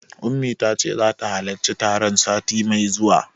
Ummi tace zata halarci taron sati mai zuwa.